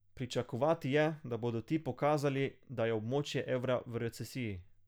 Pričakovati je, da bodo ti pokazali, da je območje evra v recesiji.